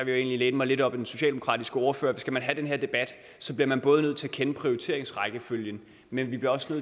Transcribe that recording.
jeg egentlig læne mig lidt op ad den socialdemokratiske ordfører at skal man have den her debat bliver man både nødt til at kende prioriteringsrækkefølgen men også